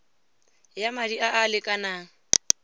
ya madi a a lekanang